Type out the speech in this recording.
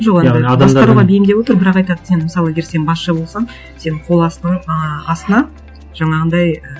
басқаруға бейімдеп отыр бірақ айтады сен мысалы егер сен басшы болсаң сен қол ы астына жаңағындай і